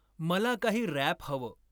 मला काही रॅप हवं